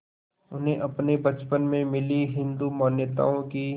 उन्हें अपने बचपन में मिली हिंदू मान्यताओं की